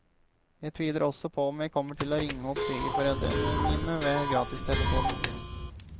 Jeg tviler også på om jeg kommer til å ringe opp svigerforeldrene mine med gratistelefonen.